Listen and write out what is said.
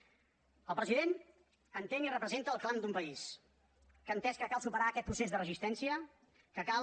el president entén i representa el clam d’un país que ha entès que cal superar aquest procés de resistència que cal